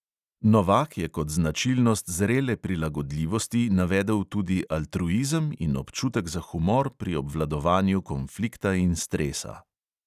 Novak je kot značilnost zrele prilagodljivosti navedel tudi altruizem in občutek za humor pri obvladovanju konflikta in stresa.